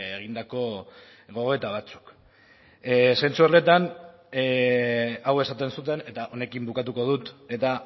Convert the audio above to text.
egindako gogoeta batzuk zentzu horretan hau esaten zuten eta honekin bukatuko dut eta